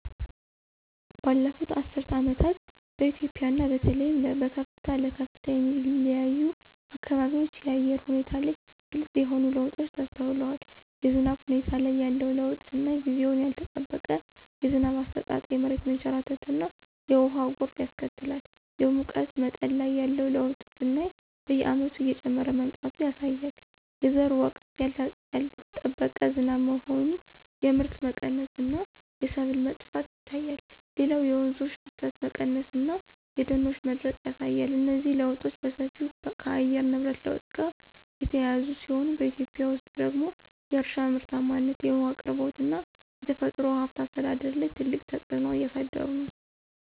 ባለፉት አስርት ዓመታት በኢትዮጵያ እና በተለይም በከፍታ ለከፍታ የሚለያዩ አካባቢዎች የአየር ሁኔታ ላይ ግልጽ የሆኑ ለውጦች ተስተውለዋል። የዝናብ ሁኔታ ላይ ያለው ለውጥ ስናይ ጊዜውን ያልጠበቀ የዝናብ አሰጣጥ የመሬት መንሸራተትና የውሃ ጎርፍ ያስከትላል። የሙቀት መጠን ላይ ያለው ለውጥ ስናይ በየዓመቱ እየጨመረ መምጣቱ ያሳያል። የዘር ወቅት ያልጠበቀ ዝናብ መሆን የምርት መቀነስ እና የሰብል መጥፋት ይታያል። ሌላው የወንዞች ፍሰት መቀነስ እና የደኖች መድረቅ ያሳያል። እነዚህ ለውጦች በሰፊው ከየአየር ንብረት ለውጥ ጋር የተያያዙ ሲሆን፣ በኢትዮጵያ ውስጥ ደግሞ የእርሻ ምርታማነት፣ የውሃ አቅርቦት እና የተፈጥሮ ሀብት አስተዳደር ላይ ትልቅ ተጽዕኖ እያሳደሩ ነው።